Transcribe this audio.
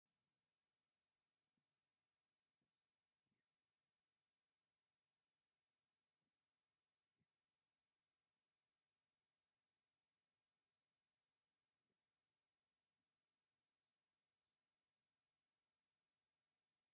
ዝተፈላለዩ ዓይነት ብሸኩትታት ተደርዲሮም ኣለዉ፡፡ እዞም ሕብራዊ መዓሸጊ ዘለዎም ብሽኩትታት መብዛሕቲኡ ግዜ ህፃናት እዮም ዝዕድግዎም፡፡ ስለዚ ዶ ይኾን ሕብራዊ መዓሸጊ ኣድልይዎም?